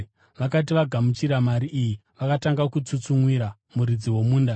Vakati vagamuchira mari iyi vakatanga kutsutsumwira muridzi womunda.